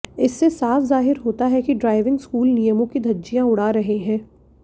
इससे साफ जाहिर होता है कि ड्राइविंग स्कूल नियमों की धज्जियां उड़ा रहे हैं